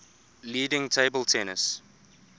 leading table tennis